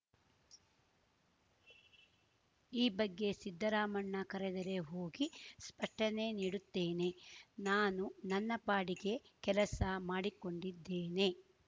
ಈ ಬಗ್ಗೆ ಸಿದ್ದರಾಮಣ್ಣ ಕರೆದರೆ ಹೋಗಿ ಸ್ಪಷ್ಟನೆ ನೀಡುತ್ತೇನೆ ನಾನು ನನ್ನ ಪಾಡಿಗೆ ಕೆಲಸ ಮಾಡಿಕೊಂಡಿದ್ದೇನೆ